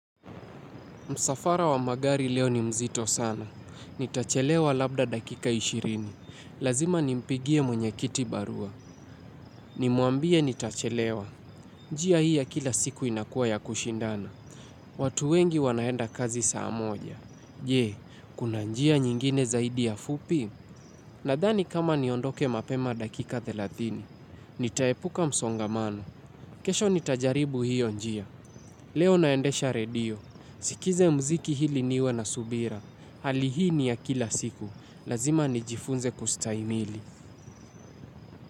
Msafara wa magari leo ni mzito sana. Nitachelewa labda dakika ishirini. Lazima nimpigie mwenye kiti barua. Nimuambie nitachelewa. Njia hii ya kila siku inakuwa ya kushindana. Watu wengi wanaenda kazi saa moja. Je, kuna njia nyingine zaidi ya fupi? Nadhani kama niondoke mapema dakika thelathini. Nitaepuka msongamano. Kesho nitajaribu hiyo njia. Leo naendesha redio. Nisikize mziki ili niwe na subira. Hali hii ni ya kila siku. Lazima nijifunze kustahimili.